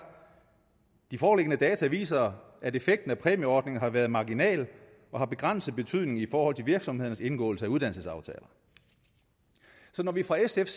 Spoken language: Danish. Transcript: de foreliggende data viser at effekten af præmieordningen har været marginal og har begrænset betydning i forhold til virksomhedernes indgåelse af uddannelsesaftaler så når vi fra sfs